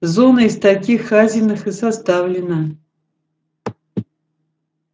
зона из таких хазиных и составлена